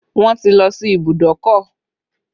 Wọn ti lọ sí ìbùdókọ̀